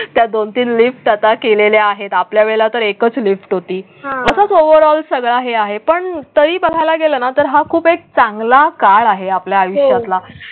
त्या दोन तीन लिफ्ट आता केलेले आहेत. आपल्या वेळा तर एकच लिफ्ट होती हा असच ओवर ऑल सगळं आहे पण तरी बघायला गेलं ना तर हा खूप चांगला काळ आहे आपल्या आयुष्यातला.